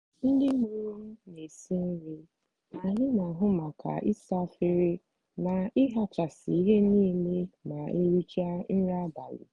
ndị mụrụ m na esiri nri ma anyị n'ahu maka isa efere na ihichasị ihe niile ma erichaa nri abalị.